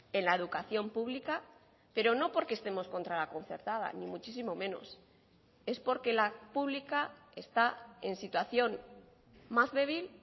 en la educación pública pero no porque estemos contra la concertada ni muchísimo menos es porque la pública está en situación más débil